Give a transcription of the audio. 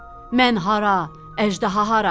Mən hara, əjdaha hara?